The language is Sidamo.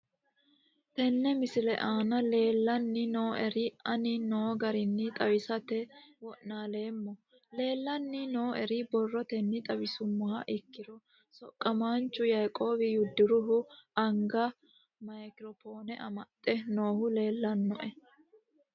Tene misile aana leelanni nooerre aane noo garinni xawisate wonaaleemmo. Leelanni nooerre borrotenni xawisummoha ikkiro soqaamanchu yaiqob yodoruhu anga micro phone amaxxe noohu leelanoe